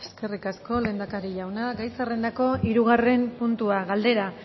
eskerrik asko lehendakari jauna gai zerrendako hirugarren puntua galdera